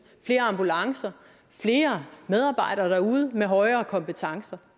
flere ambulancer og flere medarbejdere derude med højere kompetencer